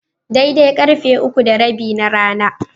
Daidai karfe uku da rabi na rana.